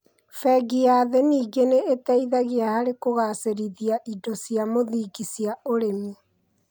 Bengi ya Thĩ nĩngĩ nĩ ĩteithagia harĩ kũgacĩrithia indo cia mũthingi cia ũrĩmi,